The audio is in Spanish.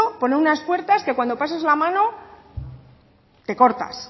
poner unas puertas que cuando pases la mano te cortas